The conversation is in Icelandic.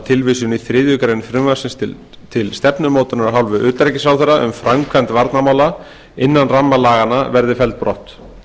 tilvísun í þriðju greinar frumvarpsins til stefnumótunar af hálfu utanríkisráðherra um framkvæmd varnarmála innan ramma laganna verði felld brott